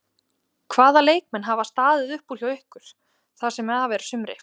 Hvaða leikmenn hafa staðið upp úr hjá ykkur það sem af er sumri?